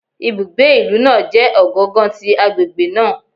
Ibugbe ilu naa jẹ ogangan ti agbegbe naa